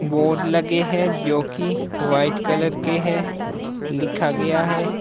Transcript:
Board लगे है जो की वाइट कलर के है लिखा गया है।